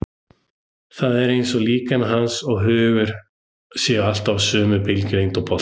Það er eins og líkami hans og hugur séu alltaf á sömu bylgjulengd og boltinn.